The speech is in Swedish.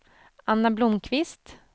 Anna Blomqvist